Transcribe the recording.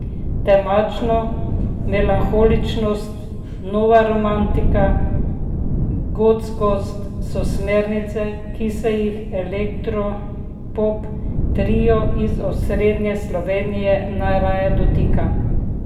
Temačnost, melanholičnost, nova romantika, gotskost so smernice, ki se jih elektropop trio iz osrednje Slovenije najraje dotika.